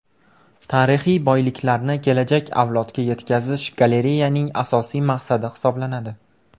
Tarixiy boyliklarni kelajak avlodga yetkazish galereyaning asosiy maqsadi hisoblanadi.